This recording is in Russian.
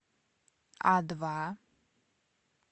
а два